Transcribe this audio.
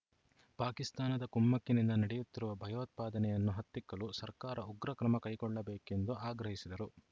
ಪಾಕಿಸ್ತಾನದ ಕುಮ್ಮಕ್ಕಿನಿಂದ ನಡೆಯುತ್ತಿರುವ ಭಯೋತ್ಪಾದನೆಯನ್ನು ಹತ್ತಿಕ್ಕಲು ಸರ್ಕಾರ ಉಗ್ರ ಕ್ರಮ ಕೈಗೊಳ್ಳಬೇಕು ಎಂದು ಆಗ್ರಹಿಸಿದರು